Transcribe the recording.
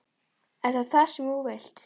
Er það það sem þú vilt?